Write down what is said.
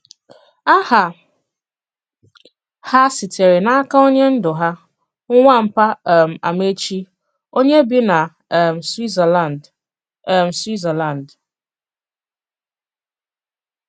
Àhà hà sitere n'aka onye ndú hà, Nwàpà um Àmàèchì, onye bì na um Swìtzerlànd. um Swìtzerlànd.